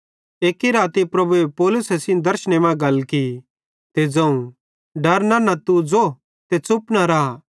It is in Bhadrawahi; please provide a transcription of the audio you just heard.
एक्की राती प्रभुए पौलुसे सेइं दर्शने मां गल की ते ज़ोवं डर नन्ना ते तू ज़ो ते च़ुप न रा